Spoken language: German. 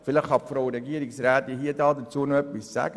vielleicht kann Frau Regierungsrätin Egger etwas dazu sagen.